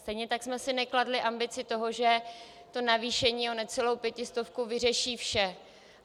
Stejně tak jsme si nekladli ambici toho, že navýšení o necelou pětistovku vyřeší vše.